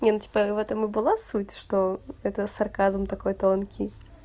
не ну типа в этом и была суть что это сарказм такой тонкий